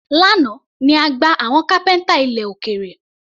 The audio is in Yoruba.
Lánàá ni a gba àwọn kápẹ́ńtà ilẹ̀ òkèrè.